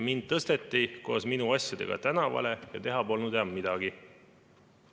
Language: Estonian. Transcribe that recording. Mind tõsteti koos minu asjadega tänavale ja teha polnud midagi.